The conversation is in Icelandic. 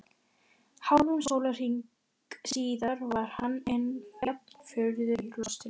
Hálfum sólarhring síðar var hann enn jafn furðu lostinn.